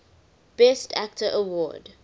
best actor award